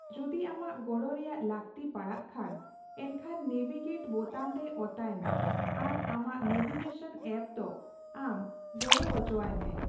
ᱡᱩᱫᱤ ᱟᱢᱟᱜ ᱜᱚᱲᱚ ᱨᱮᱭᱟᱜ ᱞᱟᱹᱜᱛᱤ ᱯᱟᱲᱟᱜ ᱠᱷᱟᱱ, ᱮᱱᱠᱷᱟᱱ ᱱᱮᱵᱷᱤᱜᱮᱴ ᱵᱳᱛᱟᱹᱢ ᱨᱮ ᱚᱛᱟᱭᱢᱮ ᱟᱨ ᱟᱢᱟᱜ ᱱᱮᱵᱷᱤᱜᱮᱥᱚᱱ ᱟᱯ ᱫᱚ ᱟᱢ ᱜᱚᱲᱚ ᱦᱚᱪᱚᱣᱟᱭ ᱢᱮ᱾